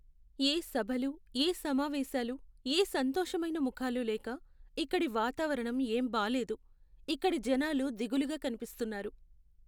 ఏ సభలు, ఏ సమావేశాలు, ఏ సంతోషమైన ముఖాలు లేక ఇక్కడి వాతావరణం ఏం బాలేదు. ఇక్కడి జనాలు దిగులుగా కనిపిస్తున్నారు.